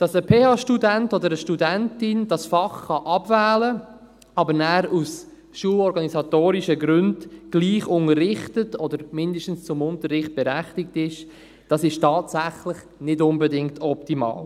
Dass ein PH-Student oder eine PH-Studentin dieses Fach abwählen kann, es aber nachher aus schulorganisatorischen Gründen trotzdem unterrichtet oder zumindest zum Unterricht berechtigt ist, ist tatsächlich nicht unbedingt optimal.